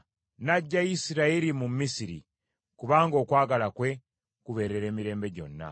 N’aggya Isirayiri mu Misiri, kubanga okwagala kwe kubeerera emirembe gyonna.